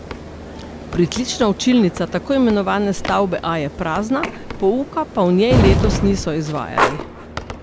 Pritlična učilnica tako imenovane stavbe A je prazna, pouka pa v njej letos niso izvajali.